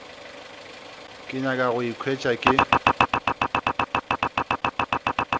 ke nyaka go ikhwetša ke